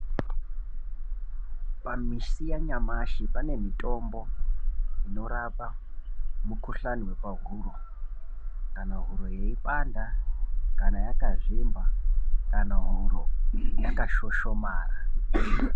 Pamisi yanyamashi pane mitombo inorapa mikuhlani yepahuro kana huro yeipanda kana yakazvimba kana huro yakashoshomara.